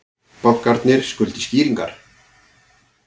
Bankarnir skuldi skýringar